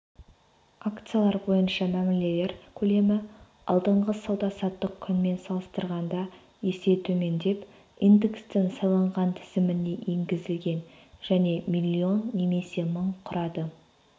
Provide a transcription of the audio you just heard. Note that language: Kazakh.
акциялар бойынша мәмілелер көлемі алдыңғы сауда-саттық күнмен салыстырғанда есе төмендеп индекстің сайланған тізіміне енгізілген және млн немесе мың құрады